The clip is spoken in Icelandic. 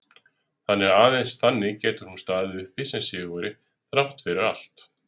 Þannig, og aðeins þannig, getur hún staðið uppi sem sigurvegari þrátt fyrir allt.